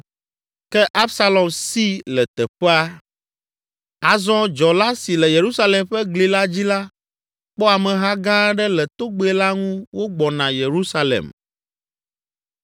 Ke Absalom si le teƒea. Azɔ, dzɔla si le Yerusalem ƒe gli la dzi la, kpɔ ameha gã aɖe le togbɛ la ŋu wogbɔna Yerusalem.